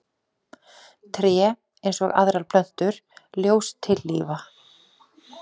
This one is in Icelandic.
Tré, eins og aðrar plöntur, ljóstillífa.